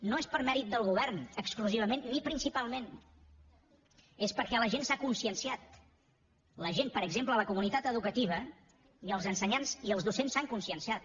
no és per mèrit del govern exclusivament ni principalment és perquè la gent s’ha conscienciat la gent per exemple la comunitat educativa i els ensenyants i els docents s’han cons cienciat